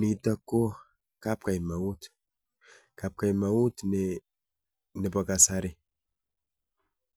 Nitok ko kapkaimaut, kapkaimaut nebo kasari